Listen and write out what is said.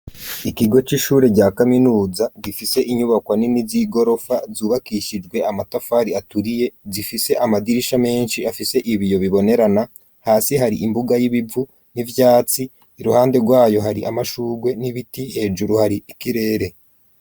Ikigwe c'ishure rya kaminuza gifise inyubako nini z'igorofa zubakishijwe amatafari aturiye zifise amadirisha menshi afise ibiyo bibonerana hasi hari imbuga y'ibivu n'ivyatsi iruhande rwayo hari amashurwe n'ibiti hejuru hari ikirere.